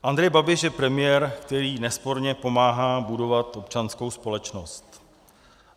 Andrej Babiš je premiér, který nesporně pomáhá budovat občanskou společnost.